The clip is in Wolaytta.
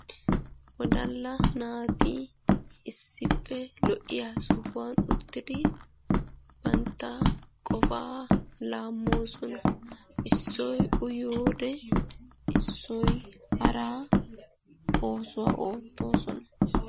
Wodala naati issippe lo''iya sohuwan uttidi bantta qofa laammoosona. issoy uyyiyoode issoy hara oosuwa oottoosona.